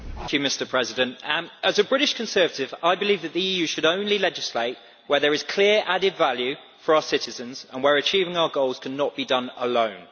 Mr President, as a British Conservative I believe that the EU should only legislate where there is clear added value for our citizens and where achieving our goals cannot be done alone.